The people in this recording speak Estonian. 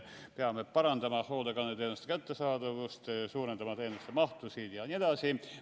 Peame parandama hoolekandeteenuste kättesaadavust, suurendama teenuste mahtusid jne.